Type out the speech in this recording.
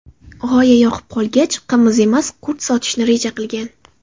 G‘oya yoqib qolgach, qimiz emas, qurt sotishni reja qilgan.